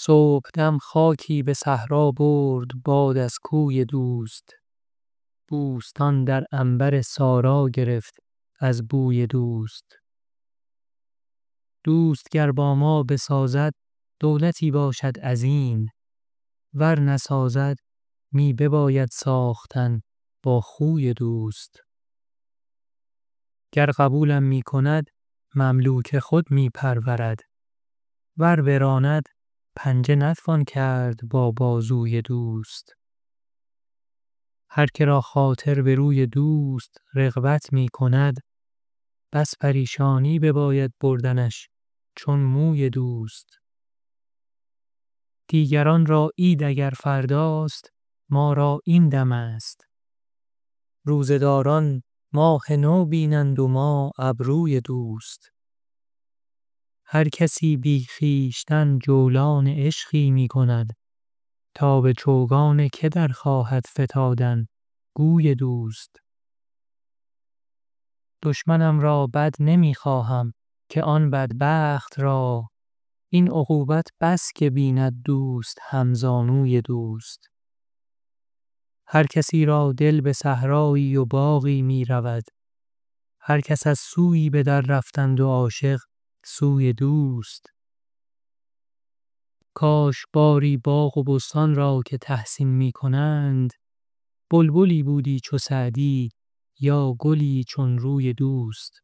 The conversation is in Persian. صبحدم خاکی به صحرا برد باد از کوی دوست بوستان در عنبر سارا گرفت از بوی دوست دوست گر با ما بسازد دولتی باشد عظیم ور نسازد می بباید ساختن با خوی دوست گر قبولم می کند مملوک خود می پرورد ور براند پنجه نتوان کرد با بازوی دوست هر که را خاطر به روی دوست رغبت می کند بس پریشانی بباید بردنش چون موی دوست دیگران را عید اگر فرداست ما را این دمست روزه داران ماه نو بینند و ما ابروی دوست هر کسی بی خویشتن جولان عشقی می کند تا به چوگان که در خواهد فتادن گوی دوست دشمنم را بد نمی خواهم که آن بدبخت را این عقوبت بس که بیند دوست همزانوی دوست هر کسی را دل به صحرایی و باغی می رود هر کس از سویی به دررفتند و عاشق سوی دوست کاش باری باغ و بستان را که تحسین می کنند بلبلی بودی چو سعدی یا گلی چون روی دوست